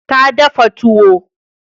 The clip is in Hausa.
Ta dafa tuwo.